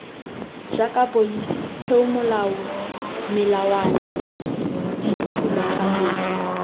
jaaka pholisi peomolao melawana dithulaganyetso